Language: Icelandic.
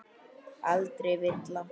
Aldrei villa.